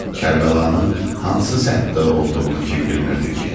Kərbəlanın hansı səmtdə olduğunu kim bilmirdi ki?